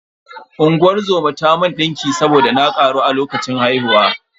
Unguwar zoma ta mun ɗinki saboda na ƙaru a lokacin haihuwa.